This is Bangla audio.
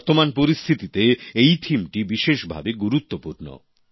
বর্তমান পরিস্থিতিতে এই থিমটি বিশেষভাবে গুরুত্বপূর্ণ